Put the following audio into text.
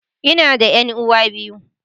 Ina da 'yan'uwa biyu.